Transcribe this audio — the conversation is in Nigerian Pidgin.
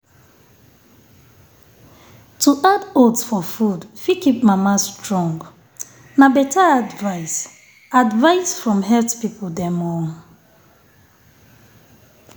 to add oats for food fit keep mama strong. na better advice advice from health people dem.